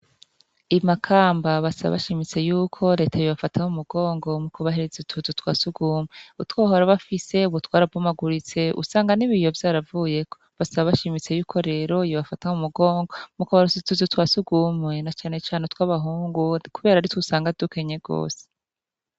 I Makamba basaba bashimitse yuko Leta yobafata mumugongo mu kubahereza ituzu twasugumwe . Utwo bahora bafise ubu twarabomaguritse usanga n'ibiyo vyaravuyeko, basaba bashimitse y'uko rero yobafata mumugongo mu kubaronsa utuzu twasugumwe na cane cane utw’abahungu kubera aritw’usanga dukenye gose.